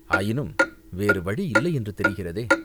ஆயினும் வேறு வழி இல்லையென்று தெரிகிறதே